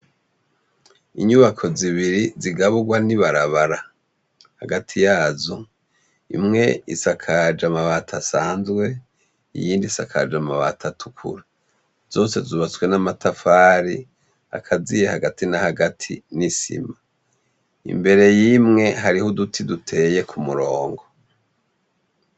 Inyubako zibiri zigaburwa n'ibarabara, hagati yazo imwe isakaje amabati asanzwe iyindi isakaje amabati atukura. Zose zubatswe n'amatafari akaziye hagati na hagati n'isima. Imbere y'imwe hariho uduti tuteye ku murongo.